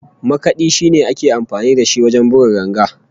Makadi shine ake amfani da shi wajen buga ganga